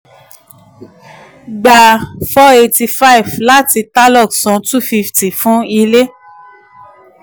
gba four eighty five láti tarlok san two fifty fún ilé.